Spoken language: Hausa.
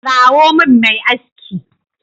Kirawo min mai aski.